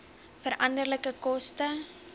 veranderlike koste